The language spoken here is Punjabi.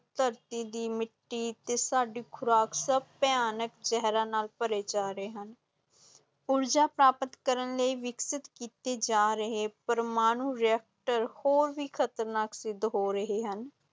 ਧਰਤੀ ਦੀ ਮਿੱਟੀ ਤੇ ਸਾਡੀ ਖ਼ੁਰਾਕ ਸਭ ਭਿਆਨਕ ਜ਼ਹਿਰਾਂ ਨਾਲ ਭਰੇ ਜਾ ਰਹੇ ਹਨ ਊਰਜਾ ਪ੍ਰਾਪਤ ਕਰਨ ਲਈ ਵਿਕਸਿਤ ਕੀਤੇ ਜਾ ਰਹੇ ਪ੍ਰਮਾਣੂ ਰਿਐਕਟਰ ਹੋਰ ਵੀ ਖ਼ਤਰਨਾਕ ਸਿੱਧ ਹੋ ਰਹੇ ਹਨ।